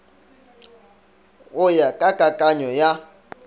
go ya ka kakanyo ya